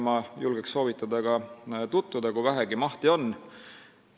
Ma julgen soovitada nendega tutvuda, kui vähegi mahti on.